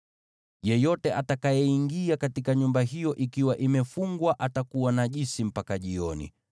“Yeyote atakayeingia katika nyumba hiyo ikiwa imefungwa, atakuwa najisi mpaka jioni.